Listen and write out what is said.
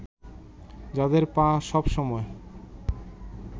যাদের পা সব সময়